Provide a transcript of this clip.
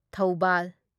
Thoubal